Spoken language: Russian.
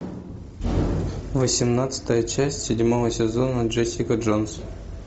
восемнадцатая часть седьмого сезона джессика джонс